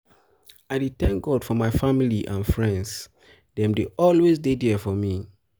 i dey thank god for my family and friends and friends dem dey always dey there for me.